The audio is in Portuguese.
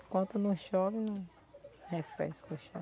Enquanto não chove, não refresca o chão.